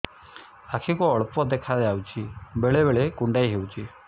ଆଖି କୁ ଅଳ୍ପ ଦେଖା ଯାଉଛି ବେଳେ ବେଳେ କୁଣ୍ଡାଇ ହଉଛି